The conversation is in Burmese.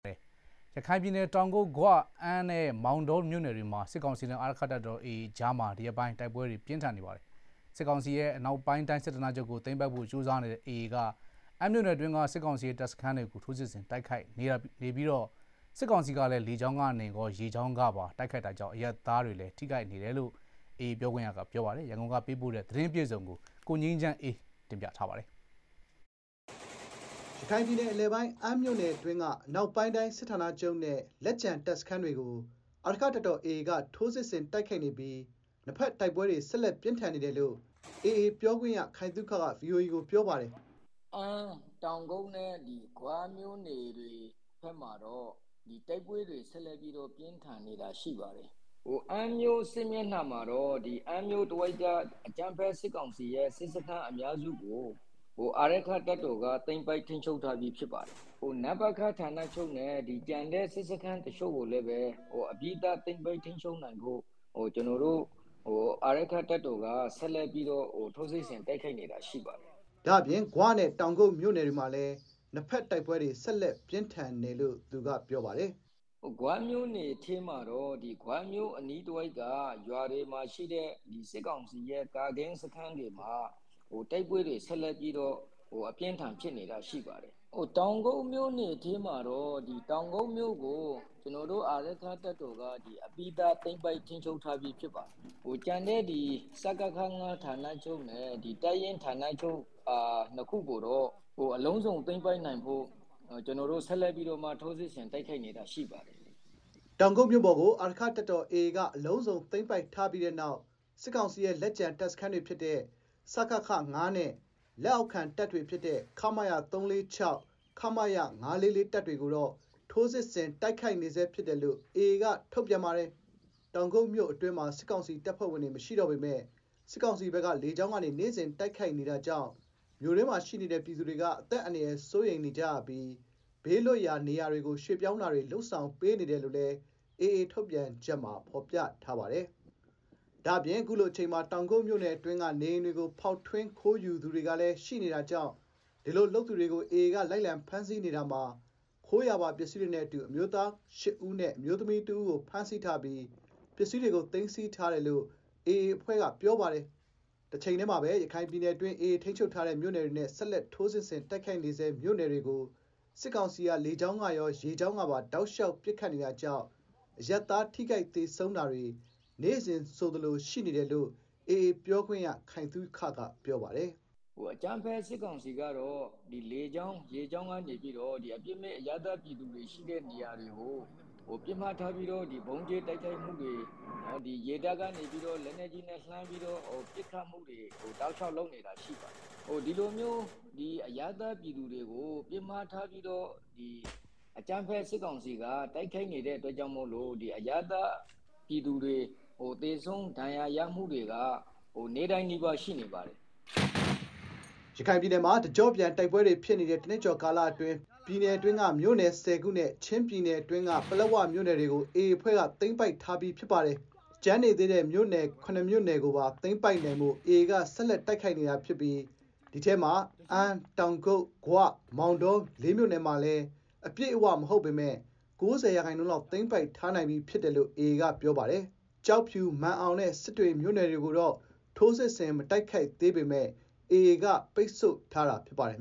ရခိုင်ပြည်နယ် တောင်ကုတ်၊ ဂွ၊ အမ်းနဲ့ မောင်တော မြို့နယ်တွေမှာ စစ်ကောင်စီနဲ့ အာရက္ခတပ်တော် AA ကြား ဒီရက်ပိုင်း တိုက်ပွဲတွေ ဆက်လက် ပြင်းထန်နေပါတယ်။ အမ်းမြို့နယ်တွင်းက စစ်ကောင်စီ တပ်စခန်းတွေကို AA က ထိုးစစ်ဆင် တိုက်ခိုက်နေတာ ဖြစ်ပြီး စစ်ကောင်စီဘက်ကလည်း လေကြောင်းကရော ရေကြောင်းကပါ ပစ်ခတ်နေတာကြောင့် အရပ်သား ထိခိုက် သေဆုံးမှုတွေ ရှိနေတယ်လို့ AA ပြောခွင့်ရက ပြောပါတယ်။ ရန်ကုန်က ပေးပို့တဲ့ သတင်းအပြည့်စုံကို တင်ပြထားပါတယ်။ ရခိုင်ပြည်နယ် အလယ်ပိုင်း အမ်းမြို့နယ်အတွင်းက အနောက်ပိုင်းတိုင်း စစ်ဌာနချုပ်နဲ့ လက်ကျန် တပ်စခန်းတွေကို အာရက္ခတပ်တော် AA က ထိုးစစ်ဆင် တိုက်ခိုက်နေပြီး နှစ်ဘက် တိုက်ပွဲတွေ ဆက်လက်ပြင်း ထန်နေတယ်လို့ AA ပြောခွင့်ရ ခိုင်သုခက ဗွီအိုအေကို ပြောပါတယ်။ “အမ်း၊ တောင်ကုတ် နဲ့ ဂွမြို့နယ်တွေ ဘက်မှာတော့ တိုက်ပွဲတွေ ဆက်လက် ပြီးတော့ ပြင်းထန်နေတာ ရှိပါတယ်။ အမ်းမြို့ စစ်မျက်မှာတော့ အမ်းမြို့ အကြမ်းဖက် စစ်ကောင်စီရဲ့ စစ်စခန်း အများစုကို အာရက္ခတပ်တော်က သိမ်းပိုက် ထိန်းချုပ်ထားပြီး ဖြစ်ပါတယ်။ နပခ ဌာနချုပ်နဲ့ ကျန်တဲ့ စစ်ခန်းတချို့ ကိုလည်း အပြီးသတ် သိမ်းပိုက် ထိန်းချုပ်နိုင်ဖို့ ကျနော်တို့ ထိုးစစ်ဆင် တိုက်ခိုက်နေတာ ရှိပါတယ်။” ဒါ့အပြင် ဂွနဲ့ တောင်ကုတ် မြို့နယ်တွေ မှာလည်း နှစ်ဘက်တိုက်ပွဲတွေ ဆက်လက် ပြင်းထန်နေတယ်လို့ သူကပြောပါတယ်။ “ဂွမြို့နယ်ထဲမှာတော့ ဂွမြို့အနီးတဝိုက်က ကျေးရွာတွေမှာရှိတဲ့ စစ်ကောင်စီရဲ့ ကာကင်းစခန်းတွေမှာ တိုက်ပွဲတွေ ဆက်လက်ပြီးတော့ ဖြစ်ပွား နေတာရှိပါတယ်။ တောက်ကုတ်မြို့နယ်ထဲမှာတော့ တောင်ကုတ်မြို့ကို ကျနော်တို့ အပြီးသတ် သိမ်းပိုက်ထိန်းချုပ်ပြီးသား ဖြစ်ပါတယ်။ ကျန်တဲ့ စကခ ၅ ဌာနချုပ်နဲ့တပ်ရင်း၂ ခုကိုတော့ အလုံးစုံထိန်းချုပ် နိုင်ဖို့ ဆက်လက်ပြီးတော့ ထိုးစစ်ဆင် တိုက်ခိုက်နေတာ ဖြစ်ပါတယ်။ ” တောင်ကုတ်မြို့ပေါ်ကို အာရက္ခတပ်တော် AA က အလုံးစုံ သိမ်းပိုက်ထားပြီးတဲ့နောက် စစ်ကောင်စီရဲ့ လက်ကျန် တပ်စခန်းတွေ ဖြစ်တဲ့ စကခ နဲ့ လက်အောက်ခံတပ်တွေ ဖြစ်တဲ့ ခမရ ၃၄၆ နဲ့ ခမရ ၅၄၄ တပ်တွေကိုတော့ ထိုးစစ်ဆင် တိုက်ခိုက်နေဆဲ ဖြစ်တယ်လို့ AA က ထုတ်ပြန်ထားပါတယ်။ တောင်ကုတ်မြို့အတွင်းမှာ စစ်ကောင်စီ တပ်ဖွဲ့ဝင်တွေ မရှိတော့ပေမဲ့ စစ်ကောင်စီဘက်က လေကြောင်းကနေ နေ့စဥ် တိုက်ခိုက်နေတာကြောင့် မြို့တွင်းမှာရှိနေတဲ့ ပြည်သူတွေ အသက်အန္တရာယ် စိုးရိမ်နေကြရပြီး ဘေးလွတ်ရာ နေရာတွေကို ရွှေ့ပြောင်းတာတွေ လုပ်ဆောင်ပေးနေတယ်လို့လည်း AA ထုတ်ပြန်ချက်မှာ ဖော်ပြထားပါတယ်။ ဒါ့အပြင် အခုလိုအချိန်မှာ တောင်ကုတ်မြို့အတွင်းက နေအိမ်တွေကို ဖောက်ထွင်း ခိုးယူသူတွေကလည်း ရှိနေတာကြောင့် ဒီလို လုပ်သူတွေကို AA က လိုက်လံ ဖမ်းဆီးနေတာမှာ ခိုးရာပါ ပစ္စည်းတွေနဲ့အတူ အမျိုးသား ၈ ဦးနဲ့ အမျိုးသမီးတဦးကို ဖမ်းဆီးထားပြီး ပစ္စည်းတွေကို သိမ်းဆည်းထားတယ်လို့ AA အဖွဲ့က ပြောပါတယ်။ တချိန်တည်းမှာပဲ ရခိုင်ပြည်နယ်အတွင်း AA ထိန်းချုပ်ထားတဲ့ မြို့နယ်တွေနဲ့ ဆက်လက် ထိုးစစ်ဆင် တိုက်ခိုက်နေဆဲ မြို့နယ်တွေကို စစ်ကောင်စီက လေကြောင်းကရော ရေကြောင်းကပါ တောက်လျှောက် ပစ်ခတ်နေတာကြောင့် အရပ်သား ထိခိုက် သေဆုံးတာတွေ နေ့စဥ်ဆိုသလို ရှိနေတယ်လို့ AA ပြောခွင့်ရ ခိုင်သုခက ပြောပါတယ်။ “အကြမ်းဖက် စစ်ကောင်စီ ကတော့ လေကြောင်း ရေကြောင်းတွေကနေ အပြစ်မဲ့ အရပ်သား ပြည်သူတွေ ရှိတဲ့ နေရာတွေကို ဗုံးကြဲ တိုက်ခိုက်တာတွေ၊ လေတပ်ကနေ လက်နက်ကြီးနဲ့ လှမ်းပြီးတော့ ပစ်ခတ်တာတွေ တောက်လျှောက် လုပ်နေပါတယ်။ ဒီလိုမျိုး အရပ်သားပြည်သူတွေကို အကြမ်းဖက် စစ်ကောင်စီက ဦးတည်ပြီးတော့ တိုက်ခိုက်နေတဲ့အတွက် အရပ်သား ပြည်သူတွေ သေဆုံးဒဏ်ရာရ တာတွေက နေ့တိုင်းနီးပါး ရှိနေပါတယ်။” ရခိုင်ပြည်နယ်မှာ တကြော့ပြန် တိုက်ပွဲတွေဖြစ်နေတဲ့ တနှစ်ကျော် ကာလအတွင်း ပြည်နယ်တွင်းက မြို့နယ် ၁၀ ခုနဲ့ ချင်းပြည်နယ်အတွင်းက ပလက်ဝ မြို့နယ်တွေကို AA အဖွဲ့က သိမ်းပိုက်ထားပြီး ဖြစ်ပါတယ်။ ကျန်နေသေးတဲ့ မြို့နယ် ၇ မြို့နယ်ကိုပါ သိမ်းပိုက်နိုင်ဖို့ AA က ဆက်လက် တိုက်ခိုက်နေတာ ဖြစ်ပြီး ဒီအထဲမှာ အမ်း၊ တောင်ကုတ်၊ ဂွနဲ့ မောင်တော ၄ မြို့နယ်မှာလည်း အပြည့်အဝ မဟုတ်ပေမဲ့ ၉ဝ ရာခိုင်နှုန်းလောက် သိမ်းပိုက်ထားနိုင်ပြီး ဖြစ်တယ်လို့ AA က ပြောပါတယ်။ ကျောက်ဖြူ၊ မာန်အောင်နဲ့ စစ်တွေမြို့နယ်တွေကိုတော့ ထိုးစစ်ဆင် မတိုက်ခိုက်သေးပေမဲ့ AA က ပိတ်ဆို့ထားတာ ဖြစ်ပါတယ်